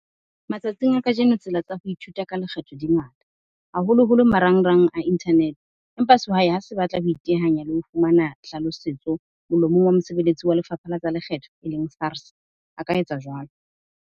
Matsatsing a kajeno tsela tsa ho ithuta ka lekgetho di ngata, haholoholo marangrang a internet-e. Empa sehwai ha se batla ho itehanya le ho fumana hlalosetso molomong wa mosebeletsi wa lefapha la tsa lekgetho e leng SARS, a ka etsa jwalo.